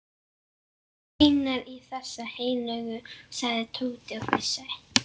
Þú meinar í þessa heilögu? sagði Tóti og flissaði.